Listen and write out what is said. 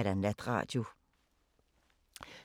DR P4 Fælles